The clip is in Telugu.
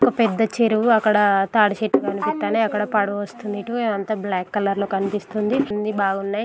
ఒక పెద్ద చెరువు అక్కడ తాటిచెట్టు కనిపిస్తున్నయ్. అక్కడ పడవ వస్తుంది ఇటు. అంత బ్లాక్ కలర్ లో కనిపిస్తుంది. అన్నీ బావున్నాయి.